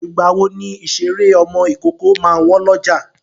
Ìgbàwo ni ìṣeré ọmọ ìkókó máa wọ́n lọ́jà?